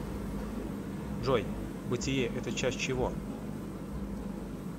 джой бытие это часть чего